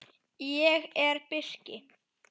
Ég er birki.